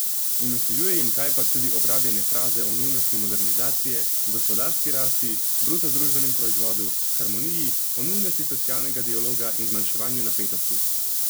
In vsiljuje jim kajpak tudi obrabljene fraze o nujnosti modernizacije, o gospodarski rasti, bruto družbenem proizvodu, harmoniji, o nujnosti socialnega dialoga in zmanjševanju napetosti.